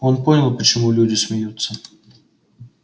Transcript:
он понял почему люди смеются